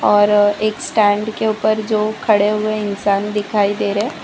और एक स्टैंड के ऊपर जो खड़े हुए इंसान दिखाई दे रहे--